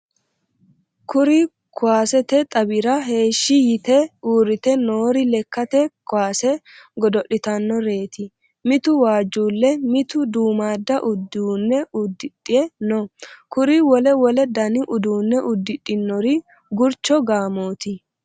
Kuri kuwasete xawira heeshshi yite uurrite noori lekkate kuwase godo'litannoreti mitu waajjullle mitu duummadda uduunne udidhe no kuri wole wole dani uduunne udidhinnori gurcho gaamoti.